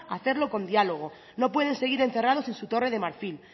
hacerlo con diálogo no pueden seguir encerrados en su torre de marfil